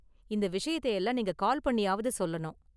இந்த விஷயத்தை எல்லாம் நீங்க கால் பண்ணியாவது சொல்லணும்.